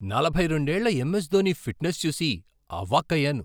నలభై రెండేళ్ల MS Dhoni fitness చూసి ఆవాక్కయ్యాను.